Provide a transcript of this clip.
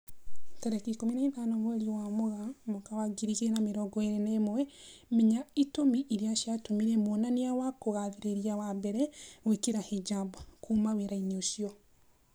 Tarĩki ikũmi na ithano mweri wa Mũgaa mwaka wa ngiri igĩri na mĩrongo ĩri na ĩmwe, Menya itũmi irĩa ciatũmire mwonania wa kugathĩrĩria wa mbere gwĩkira hijab "kuma wĩra-inĩ ucio"